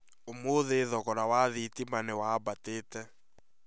Ũmũthĩ thogora wa thitima nĩ wambatĩte